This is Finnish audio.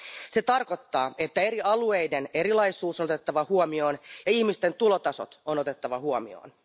Se tarkoittaa, että eri alueiden erilaisuus on otettava huomioon ja ihmisten tulotasot on otettava huomioon.